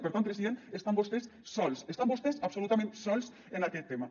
per tant president estan vostès sols estan vostès absolutament sols en aquest tema